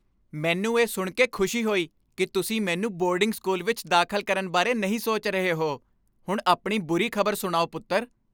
ਮੈਨੂੰ ਇਹ ਸੁਣ ਕੇ ਖੁਸ਼ੀ ਹੋਈ ਕੀ ਤੁਸੀਂ ਮੈਨੂੰ ਬੋਰਡਿੰਗ ਸਕੂਲ ਵਿੱਚ ਦਾਖ਼ਲ ਕਰਨ ਬਾਰੇ ਨਹੀਂ ਸੋਚ ਰਹੇ ਹੋ ਹੁਣ ਆਪਣੀ ਬੁਰੀ ਖ਼ਬਰ ਸੁਣਾਓ ਪੁੱਤਰ